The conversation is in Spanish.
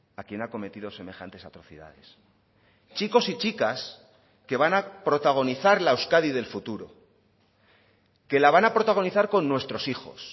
a quien ha cometido semejantes atrocidades chicos y chicas que van a protagonizar la euskadi del futuro que la van a protagonizar con nuestros hijos